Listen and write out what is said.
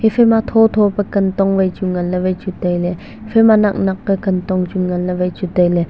phai ma thotho pe kantong wai chu ngan le waichu taile phai ma naknak ka kantong waichu ngan le wai chu taile.